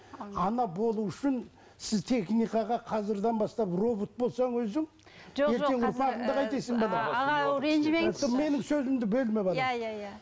ана болу үшін сіз техникаға қазірден бастап робот болсаң өзің менің сөзімді бөлме балам иә иә иә